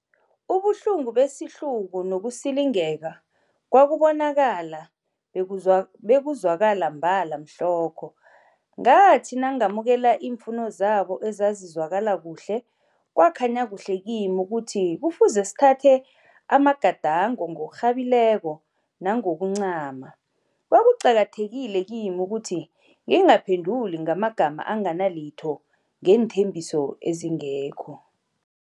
Ubuhlungu besihluku nokusilingeka kwakubonakala bekuzwakala mbala mhlokho. Ngathi nangamukela iimfuno zabo ezazizwakala kuhle, kwakhanya kuhle kimi ukuthi kufuze sithathe amagadango ngokurhabekileko nangokuncama. Kwakuqakathekile kimi ukuthi ngingaphenduli ngamagama anganalitho neenthembiso ezingekho.